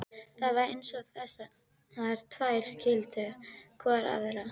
Það var eins og þessar tvær skildu hvor aðra.